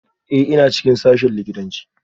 Ee, ina cikin sashen likitanci